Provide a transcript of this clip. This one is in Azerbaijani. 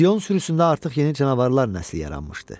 Sion sürüsündə artıq yeni canavarlar nəsli yaranmışdı.